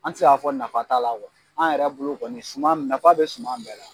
An tɛ se ka fɔ nafa t'a la an yɛrɛ bolo kɔni suman mi nafa bɛ suman bɛɛ la.